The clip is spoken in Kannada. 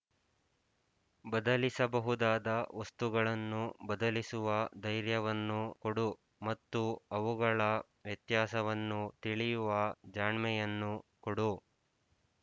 ಬದಲಿಸಬಹುದಾದ ವಸ್ತುಗಳನ್ನು ಬದಲಿಸುವ ಧೈರ್ಯವನ್ನು ಕೊಡು ಮತ್ತು ಅವುಗಳ ವ್ಯತ್ಯಾಸವನ್ನು ತಿಳಿಯುವ ಜಾಣ್ಮೆಯನ್ನು ಕೊಡು